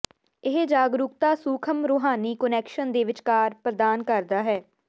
ਇਹ ਜਾਗਰੂਕਤਾ ਸੂਖਮ ਰੂਹਾਨੀ ਕੁਨੈਕਸ਼ਨ ਦੇ ਵਿਚਕਾਰ ਪ੍ਰਦਾਨ ਕਰਦਾ ਹੈ